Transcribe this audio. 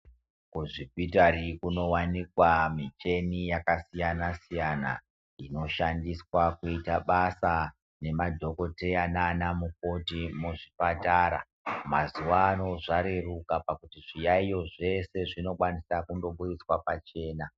Kuzvipitari kuno wanikwa micheni yakasiyana-siyana ino shandiswa kuita basa nema dhokoteya naana mukoti muzvipatara. Mazuvano zvareruka pakuti zviyaiyo zvese zvino kwaniswa kundo budiswa pachena.